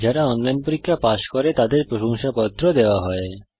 যারা অনলাইন পরীক্ষা পাস করে তাদের প্রশংসাপত্র সার্টিফিকেট ও দেওয়া হয়